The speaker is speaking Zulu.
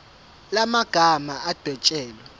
la magama adwetshelwe